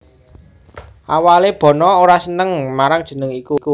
Awalé Bono ora seneng marang jeneng iku